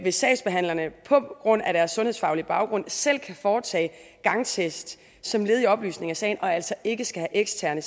sagsbehandlerne på grund af deres sundhedsfaglige baggrund selv kan foretage gangtest som led i oplysning af sagen og altså ikke skal have eksterne